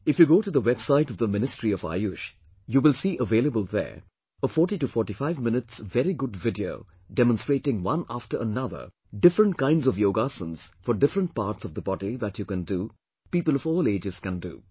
If you go to the website of the Ministry of Ayush, you will see available there a 4045 minutes very good video demonstrating one after another, different kinds of yog asanas for different parts of the body that you can do, people of all ages can do